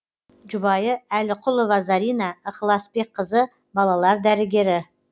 жұбайы әліқұлова зарина ықыласбекқызы балалар дәрігері